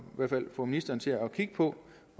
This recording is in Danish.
hvert fald få ministeren til at kigge på